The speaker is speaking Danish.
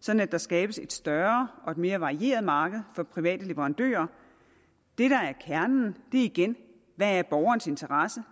sådan at der skabes et større og mere varieret marked for private leverandører det der er kernen er igen hvad borgerens interesse